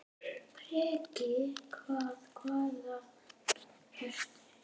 Breki: Hvað, hvaðan ertu?